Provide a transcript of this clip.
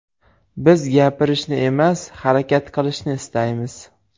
Biz gapirishni emas, harakat qilishni istaymiz.